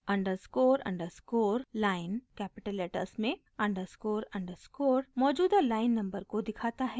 underscore underscore line capital letters में underscore underscore मौजूदा line number को दिखाता है